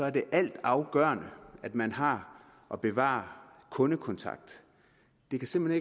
er det altafgørende at man har og bevarer kundekontakten det kan simpelt